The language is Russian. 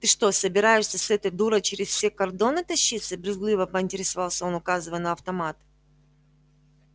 ты что собираешься с этой дурой через все кордоны тащиться брезгливо поинтересовался он указывая на автомат